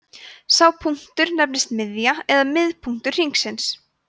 sá punktur nefnist miðja eða miðpunktur hringsins